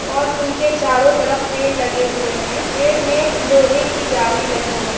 और उनके चारों तरफ पेड़ लगे हुए हैं पेड़ में लोहे की जाली लगी है।